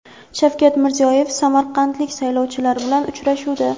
Shavkat Mirziyoyev samarqandlik saylovchilar bilan uchrashuvda:.